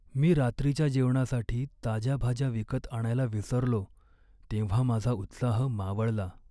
मी रात्रीच्या जेवणासाठी ताज्या भाज्या विकत आणायला विसरलो तेव्हा माझा उत्साह मावळला.